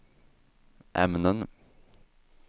ämnen